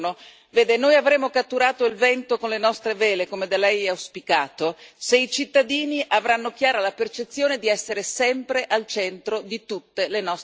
Vede, noi cattureremmo il vento con le nostre vele, come da Lei auspicato, se i cittadini avessero chiara la percezione di essere sempre al centro di tutte le nostre azioni.